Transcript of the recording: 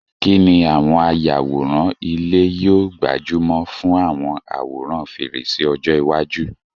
Kí ni àwọn ayàwòrán ilé yóò gbájú mọ́ fún àwọn àwòrán fèrèsé ọjọ́ iwájú?